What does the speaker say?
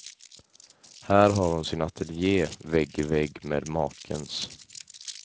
Här har hon sin ateljé, vägg i vägg med makens.